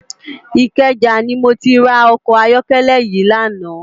Ikeja ni mó ti rá òkò àyòkèlè yi làná